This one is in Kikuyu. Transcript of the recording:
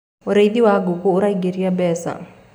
ũrĩithi wa ngũkũ uraingiria mbeca